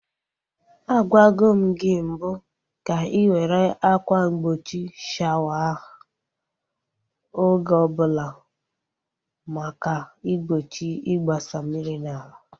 Agwago m gị mbụ ka ị were akwa mgbochi shawa ahụ oge ọbụla maka igbochi igbasa mmiri n'ala.